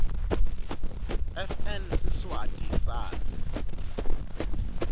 fn siswati sal